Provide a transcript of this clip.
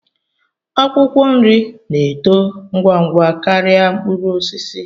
Akwụkwọ nri na-eto ngwa ngwa karịa mkpụrụ osisi